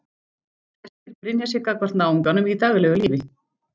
Flestir brynja sig gagnvart náunganum í daglegu lífi.